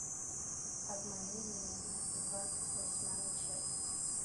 обмани меня двадцать восьмая часть